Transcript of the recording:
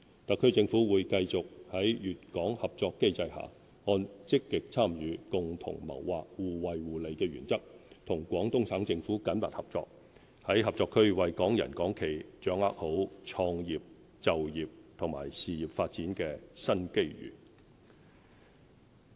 特區政府會繼續在粵港合作機制下，按"積極參與、共同謀劃、互惠互利"的原則，與廣東省政府緊密合作，在合作區為港人港企掌握好創業、就業及事業發展的新機遇。